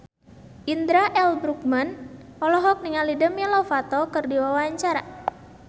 Indra L. Bruggman olohok ningali Demi Lovato keur diwawancara